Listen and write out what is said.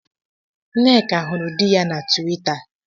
Nneka hụrụ di ya na Twita